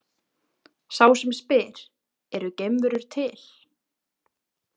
Sá sem spyr Eru geimverur til?